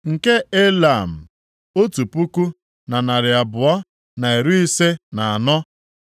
nke Elam, otu puku, na narị abụọ na iri ise na anọ (1,254),